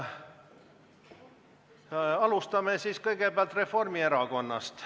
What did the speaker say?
Alustame Reformierakonnast.